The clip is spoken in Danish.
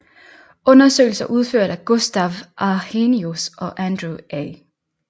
Undersøgelser udført af Gustaf Arrhenius og Andrew A